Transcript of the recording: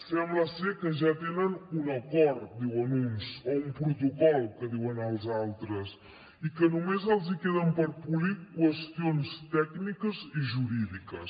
sembla ser que ja tenen un acord diuen uns o un protocol que diuen els altres i que només els hi queden per polir qüestions tècniques i jurídiques